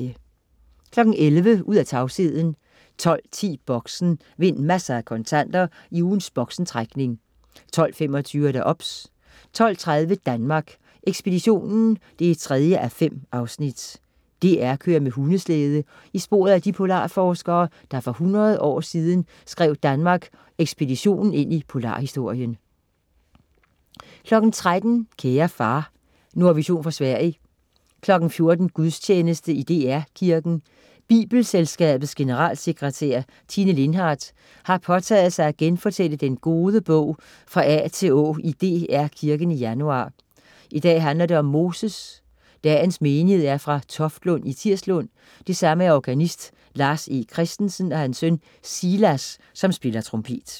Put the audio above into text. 11.00 Ud af tavsheden 12.10 Boxen. Vind masser af kontanter i ugens Boxen-trækning 12.25 OBS 12.30 Danmark Ekspeditionen 3:5. DR kører med hundeslæde i sporet af de polarforskere, der for 100 år siden skrev Danmark Ekspeditionen ind i polarhistorien 13.00 Kære far. Nordvision fra Sverige 14.00 Gudstjeneste i DR Kirken. Bibelselskabets generalsekretær, Tine Lindhardt, har påtaget sig at genfortælle den gode bog fra A til Å i DR Kirken i januar. I dag handler det om Moses. Dagens menighed er fra Toftlund og Tirslund, og det samme er organist Lars E. Christensen og hans søn Silas, som spiller trompet